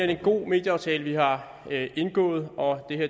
er en god medieaftale vi har indgået og